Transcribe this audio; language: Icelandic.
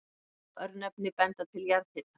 Mörg örnefni benda til jarðhita.